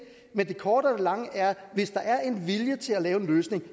men det korte af det lange er at hvis der er en vilje til at lave en løsning